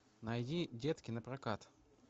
найди детки напрокат